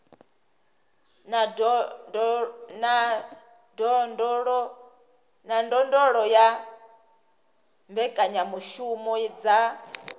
na ndondolo ya mbekanyamushumo dza